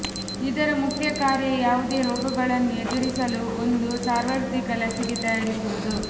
ಇದರ ಮುಖ್ಯ ಕಾರ್ಯ ಯಾವುದೇ ರೋಗಗಳನ್ನು ಎದುರಿಸಲು ಒಂದು ಸಾರ್ವತ್ರಿಕ ಲಸಿಕೆ ತಯಾರಿಸುವುದು